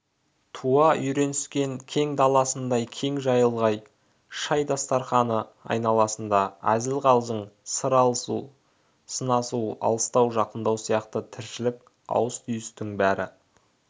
туа үйреніскен кең даласындай кең жайылған шай дастарқаны айналасында әзіл-қалжың сыр алысу сынасу алыстау-жақындау сияқты тіршілік ауыс-түйістің бәрі